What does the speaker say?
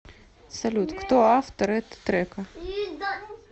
салют кто автор это трека